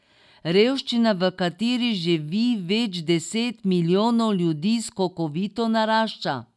Revščina, v kateri živi več deset milijonov ljudi, skokovito narašča.